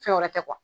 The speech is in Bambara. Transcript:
Fɛn wɛrɛ tɛ